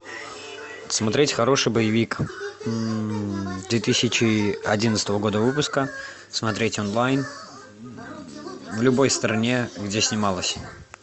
смотреть хороший боевик две тысячи одиннадцатого года выпуска смотреть онлайн в любой стране где снималось